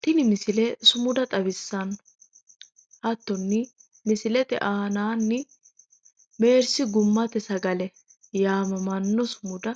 Tini misile sumuda xawissanno hattono misilete aanaanni meersi gummate sagalte mine yaannoha